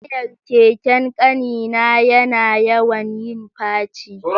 Tayar keken ƙani na yana yawan yin faci